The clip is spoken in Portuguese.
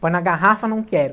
Põe na garrafa, não quero.